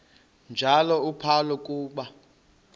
njalo uphalo akuba